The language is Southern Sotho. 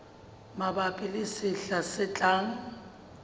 mabapi le sehla se tlang